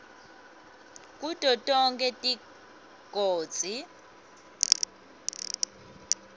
kuto tonkhe tigodzi